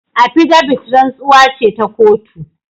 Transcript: Appidavit rantsuwa ce ta kotu.